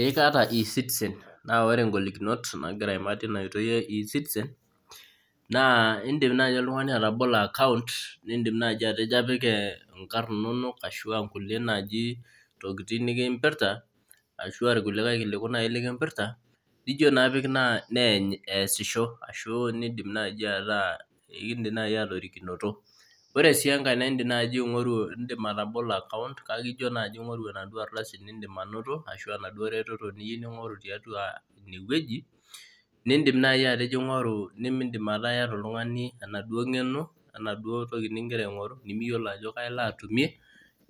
Ee kaata ecitizen naa ore ngolikinot nagira aimaa teina oitoi e ecitizen naa in'dim nai oltung'ani atabolo account nidim naji atejo apik ingarh inonok ashu aa ngulie naji tokiting nikimpirta ashu aa ilkulikai kiliku lai likimpirta nijo naa apik neeny eesisho ashu kiin'dim nai atorikinoto Ore sii enkae naa in'dim atabolo account kake ijo naji aing'oru enaduo aldasi niin'dim anoto ashu enaduo retoto niyieu ning'oru tiatua ine wueji nin'dim nai atejo aing'oru nimidim nai oltungani etaa iyata enaduo ng'eno wenaduo toki nigira aingoru nimiyiolo ajo kai alo atumie